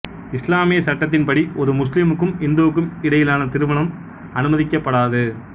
இசுலாமிய சட்டத்தின்படி ஒரு முஸ்லிமுக்கும் இந்துக்கும் இடையிலான திருமணம் அனுமதிக்கப்படாது